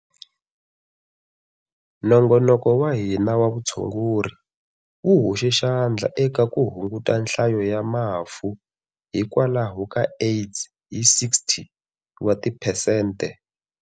Nongonoko wa hina wa vutshunguri wu hoxe xandla eka ku hunguta nhlayo ya mafu hikwalaho ka AIDS hi 60 wa tiphesente.